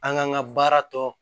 An k'an ka baara tɔ